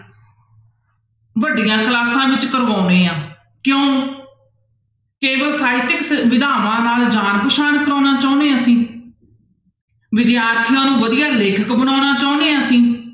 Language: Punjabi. ਵੱਡੀਆਂ ਕਲਾਸਾਂ ਵਿੱਚ ਕਰਵਾਉਂਦੇ ਹਾਂ ਕਿਉਂ, ਕੇਵਲ ਸਾਹਿਤਿਕ ਨਾਲ ਜਾਣ ਪਹਿਚਾਣ ਕਰਵਾਉਣਾ ਚਾਹੁੰਦੇ ਹਾਂ ਅਸੀਂ ਵਿਦਿਆਰਥੀਆਂ ਨੂੰ ਵਧੀਆ ਲੇਖਕ ਬਣਾਉਣਾ ਚਾਹੁੰਦੇ ਹਾਂ ਅਸੀਂ